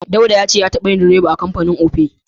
Dauda ya ce ya taɓa yin direba a kamfanin Opay.